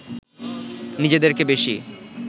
নিজেদেরকে বেশি